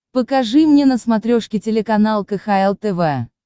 покажи мне на смотрешке телеканал кхл тв